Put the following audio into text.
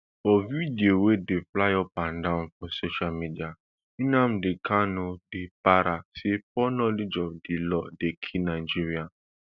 for video wey dey fly upadan for social media nnamdi kanu dey para say poor knowledge of di law dey kill nigeria